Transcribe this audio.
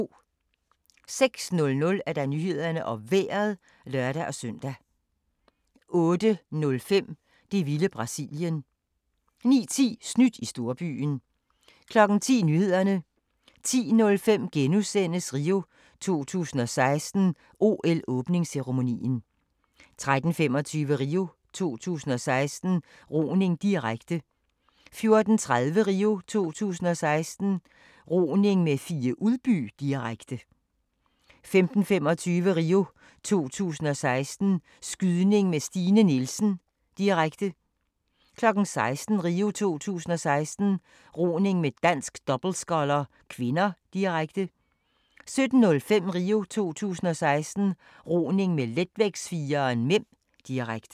06:00: Nyhederne og Vejret (lør-søn) 08:05: Det vilde Brasilien 09:10: Snydt i storbyen 10:00: Nyhederne 10:05: RIO 2016: OL-åbningsceremonien * 13:25: RIO 2016: Roning, direkte 14:30: RIO 2016: Roning med Fie Udby, direkte 15:25: RIO 2016: Skydning med Stine Nielsen, direkte 16:00: RIO 2016: Roning med dansk dobbeltsculler (k), direkte 17:05: RIO 2016: Roning med letvægtsfireren (m), direkte